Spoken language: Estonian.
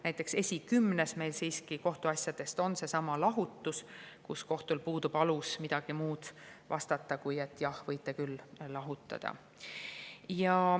Näiteks kohtuasjade esikümnes on lahutus, mille puhul kohtul puudub alus midagi muud vastata, kui et jah, võite küll lahutada.